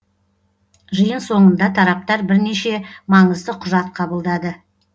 жиын соңында тараптар бірнеше маңызды құжат қабылдады